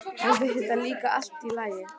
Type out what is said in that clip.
Henni finnst það líka allt í lagi.